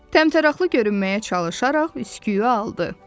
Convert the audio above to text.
Təmtəraqlı görünməyə çalışaraq üsküyü aldı.